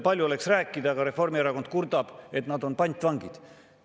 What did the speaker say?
Palju oleks rääkida, aga Reformierakond kurdab, et nad on pantvangid.